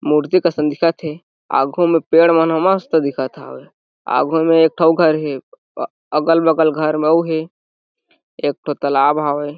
मूर्ति असन दिखत हे आघू में पेड़ मन ह मस्त दिखत हावय आघू में एक ठो अउ घर हे अगल -बगल घर म अउ हे एक ठो तालाब हावय।